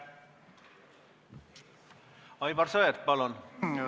Aivar Sõerd, palun!